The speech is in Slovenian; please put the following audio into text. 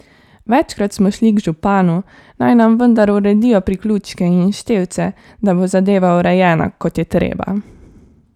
Večkrat smo šli k županu, naj nam vendar uredijo priključke in števce, da bo zadeva urejena, kot je treba.